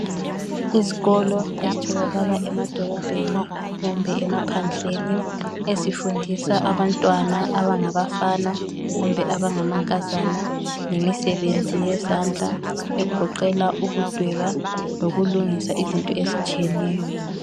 Isikolo esitholakala emadolobheni kumbe emaphandleni ezifundisa abantwana abangabafana kumba abangamankazana ngemisebenzi yezandla egoqela ukudweba lokulungisa into ezitshiyeneyo